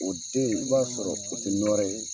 O den i b'a sɔrɔ o tɛ nɔrɛ ye.